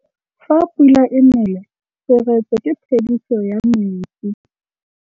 Fa pula e nelê serêtsê ke phêdisô ya metsi.